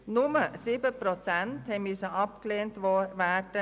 Nur 7 Prozent der Gesuche mussten abgelehnt werden.